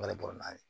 N b'ale bɔra n'a ye